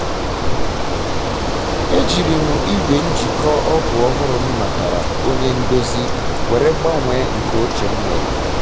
ejiri m ejiri m igwe njikọ ọgụ ọhụrụ m natara onye ndozi were gbanwee nke oche m nwere